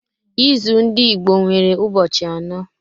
Izu ndị Igbo nwere ụbọchị anọ.